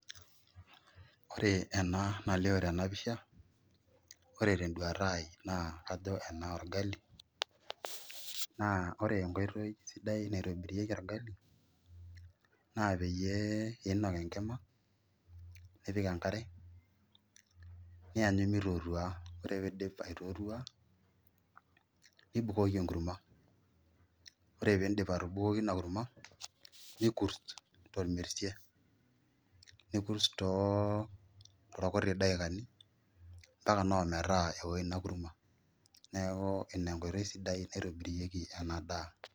Ore ena nalioo tena pisha ore tenduata ai naa kajo enaa orgali naa ore enkoitoi sidai naitobirieki orgali naa peyie iinok enkima nipik enkare nianyu enkare mitootua ore ake piidip aitootua nibukoki enkurma ore piidip atubukoki ina kurma nikurst tormesie nikurst toorkuti daikani mpaka naa ometaa keo ina kurma, neeku ina enkoitoi sidai naitobirieki ena daa.